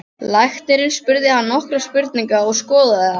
Læknirinn spurði hann nokkurra spurninga og skoðaði hann.